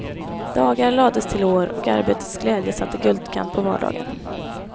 Dagar lades till år, och arbetets glädje satte guldkant på vardagen.